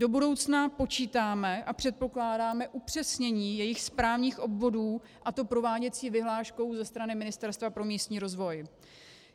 Do budoucna počítáme a předpokládáme upřesnění jejich správních obvodů, a to prováděcí vyhláškou ze strany Ministerstva pro místní rozvoj.